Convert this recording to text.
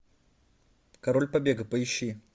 король побега поищи